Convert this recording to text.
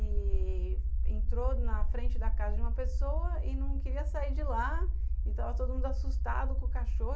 e... entrou na frente da casa de uma pessoa e não queria sair de lá e estava todo mundo assustado com o cachorro.